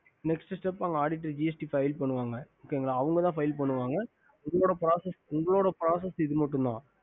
aditing gst file பண்ணுவாங்க okay அவங்க பண்ணுவாங்கஉங்களோட Press இவ்ளோதா